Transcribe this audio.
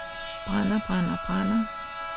brænder brænder brænder